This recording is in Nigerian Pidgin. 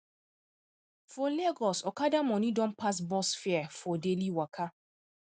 for lagos okada money don pass bus fare for daily waka